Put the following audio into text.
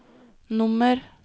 nummer